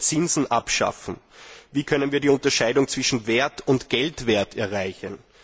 Sollen wir Zinsen abschaffen? Wie können wir die Unterscheidung zwischen Wert und Geldwert erreichen?